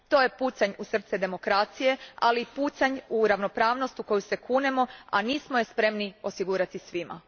To je pucanj u srce demokracije, ali i pucanj u ravnopravnost u koju se kunemo a nismo je spremni osigurati svima.